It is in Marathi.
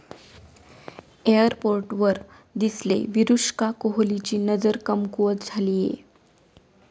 एअरपोर्टवर दिसले विरुष्का, कोहलीची नजर कमकूवत झालीये?